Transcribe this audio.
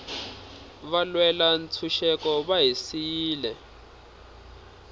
valwela ntshuxeko va hi siyile